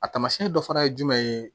A taamasiyɛn dɔ fana ye jumɛn ye